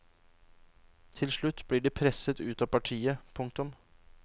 Til slutt blir de presset ut av partiet. punktum